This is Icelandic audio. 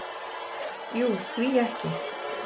"""Jú, því ekki?"""